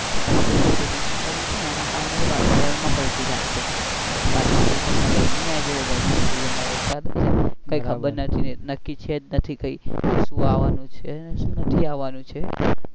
આટલું પ્રદુષણ કરિયું છે ને એના કારણે વાતાવરણ માં પલ્ટી થાય છે વરસાદ ની સિઝન માં ગરમી આઈ જાય છે ગરમી ની સિઝન માં વરસાદ આઈ છે કઈ ખબર જ નથી નક્કી છે જ નથી કઈ સુ આવનું કે સુ નથી આવનું.